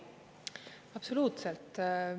Absoluutselt.